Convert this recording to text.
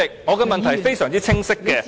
我的問題非常清晰。